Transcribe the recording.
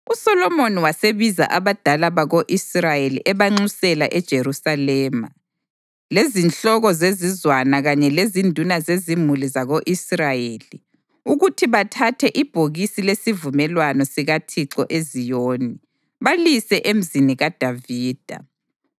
USolomoni wasebiza abadala bako-Israyeli ebanxusela eJerusalema, lezinhloko zezizwana kanye lezinduna zezimuli zako-Israyeli ukuthi bathathe ibhokisi lesivumelwano sikaThixo eZiyoni, balise eMzini kaDavida.